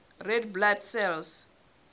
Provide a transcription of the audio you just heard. red blood cells